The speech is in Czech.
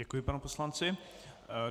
Děkuji panu poslanci.